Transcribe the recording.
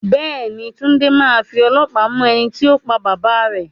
Bẹ́ẹ̀ ni, Túnde máa fi ọlọ́pàá mú ẹni tó pa bàbá rẹ